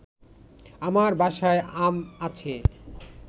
আমার বাসায় আম আছে